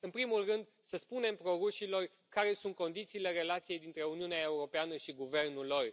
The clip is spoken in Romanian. În primul rând să spunem pro rușilor care sunt condițiile relației dintre Uniunea Europeană și guvernul lor.